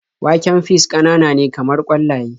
Waken fis ƙananane kamar ƙwallaye.